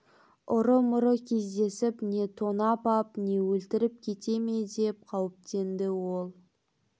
ұры-мұры кездесіп не тонап ап не өлтіріп кете ме деп қауіптенді ол